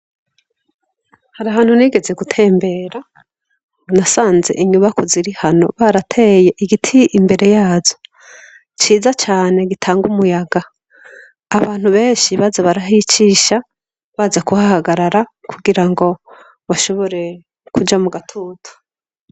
Hari hantu nigeze gutembera, nasanze inyubakwa ziri hano barateye igiti imbere yazo ciza cane gitanga umuyaga, abantu benshi baza barahicisha baza kuhahagarara, kugira ngo bashobore kuja mu gatutu.